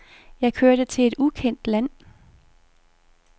Jeg kørte til et ukendt land.